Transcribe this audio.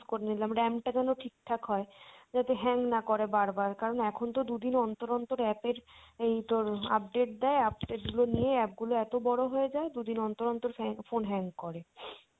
করে নিলাম RAM টা যেন ঠিকঠাক হয় যাতে hang না করে বারবার কারন এখন তো দুদিন অন্তর অন্তর app এর এই তোর update দেয় update গুলো নিয়ে app গুলো এতো বড় হয়ে যায় দু'দিন অন্তর অন্তর ফ্যা~ phone hang করে।